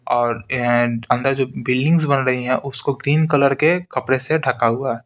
और ऐंड अंदर जो बिल्डिंग्स बन रही है उसको ग्रीन कलर के कपड़े से ढका हुआ है।